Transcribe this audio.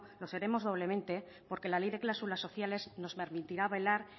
lo seremos doblemente porque la ley de cláusulas sociales nos permitirá velar